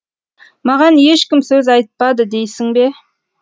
маған ешкім сөз айтпады дейсің бе